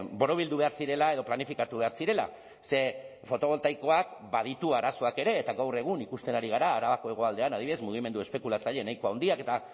borobildu behar zirela edo planifikatu behar zirela ze fotoboltaikoak baditu arazoak ere eta gaur egun ikusten ari gara arabako hegoaldean adibidez mugimendu espekulatzaile nahiko handiak eta